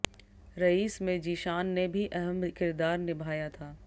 rice में जीशान ने भी अहम किरदार निभाया था